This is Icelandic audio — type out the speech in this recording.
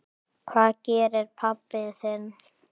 Hvað gerir pabbi þinn?